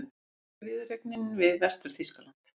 Fyrsta viðureignin við Vestur-Þýskaland